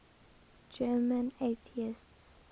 german atheists